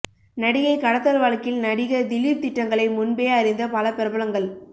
நடிகை கடத்தல் வழக்கில் நடிகர் திலீப் திட்டங்களைமுன்பே அறிந்த பல பிரபலங்கள்